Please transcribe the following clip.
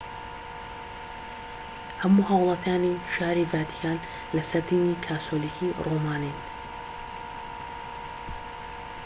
هەموو هاوڵاتیانی شاری ڤاتیکان لەسەر دینی کاسۆلیکی ڕۆمانین